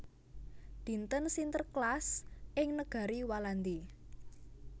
Dinten Sinterklaas ing negari Walandi